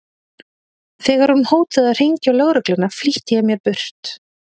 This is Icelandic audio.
Þegar hún hótaði að hringja á lögregluna flýtti ég mér burt.